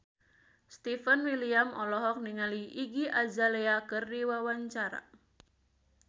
Stefan William olohok ningali Iggy Azalea keur diwawancara